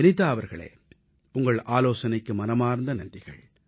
வினிதா அவர்களே உங்கள் ஆலோசனைக்கு மனமார்ந்த நன்றிகள்